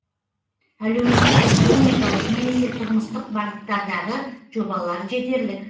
әлеуметтік экономикалық немесе тұрмыстық бағыттардағы жобалар жетерлік